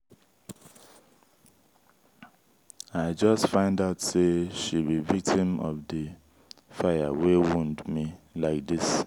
i just find out say she be victim of the fire wey wound me like dis